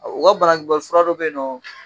O ka bana kunbɛn fura dɔ bɛ yen nɔ